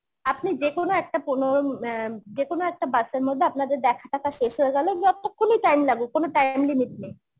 আপনি যেকোনো একটা পনেরো~ অ্যাঁ যেকোনো একটা bus এর মধ্যে আপনাদের দেখা টাখা শেষ হয়ে গেলো যতক্ষণই time লাগুক কোনো time limit নেই